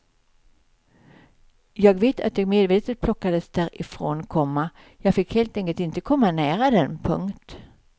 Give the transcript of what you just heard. Jag vet att jag medvetet plockades därifrån, komma jag fick helt enkelt inte komma nära den. punkt